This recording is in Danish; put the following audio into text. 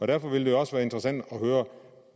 derfor vil det også være interessant at høre